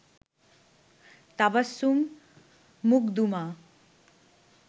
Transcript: Tabassum Makhduma